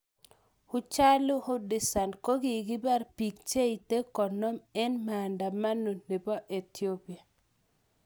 Hachalu Hundessa: kogipar pik che ite konom en maandamano nepo ethiopia.